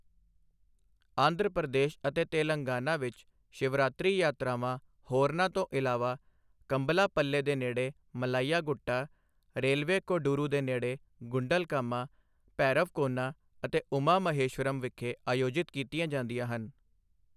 ਆਂਧਰਾ ਪ੍ਰਦੇਸ਼ ਅਤੇ ਤੇਲੰਗਾਨਾ ਵਿੱਚ, ਸ਼ਿਵਰਾਤਰੀ ਯਾਤਰਾਵਾਂ ਹੋਰਨਾਂ ਤੋਂ ਇਲਾਵਾ ਕੰਭਲਾਪੱਲੇ ਦੇ ਨੇੜੇ ਮਲਾਈਆ ਗੁੱਟਾ, ਰੇਲਵੇ ਕੋਡੂਰੂ ਦੇ ਨੇੜੇ ਗੁੰਡਲਕਾਮਾ, ਭੈਰਵਕੋਨਾ ਅਤੇ ਉਮਾ ਮਹੇਸ਼ਵਰਮ ਵਿਖੇ ਅਯੋਜਿਤ ਕੀਤੀਆਂ ਜਾਂਦੀਆਂ ਹਨ।